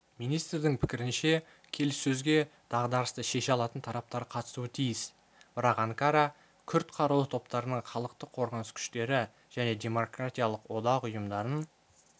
министрдің пікірінше келіссөзге дағдарысты шеше алатын тараптар қатысуы тиіс бірақ анкара күрд қарулы топтарының халықтық қорғаныс күштері және демократиялық одақ ұйымдарын